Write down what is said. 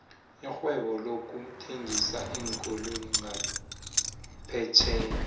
irhwebo lokuthengisa iinkoloyi ngaphetjheya